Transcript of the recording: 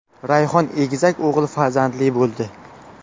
Rayhon egizak o‘g‘il farzandli bo‘ldi.